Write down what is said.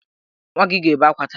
Nwa gị ga-ebe akwa taa!